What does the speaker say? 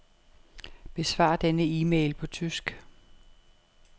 Besvar denne e-mail på tysk.